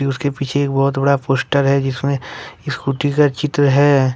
इसके पीछे एक बहुत बड़ा पोस्टर हैं जिसमें स्कूटी का चित्र है।